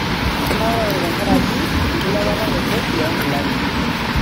Kinaurate tenkaraki enkilepata e kodi oo nkilani.